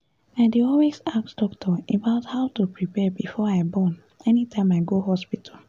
i dey always ask doctor about how to prepare before i born anytime i go hospital